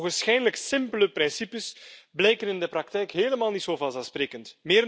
Die ogenschijnlijk simpele principes blijken in de praktijk helemaal niet zo vanzelfsprekend.